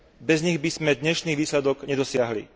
Bez nich by sme dnešný výsledok nedosiahli.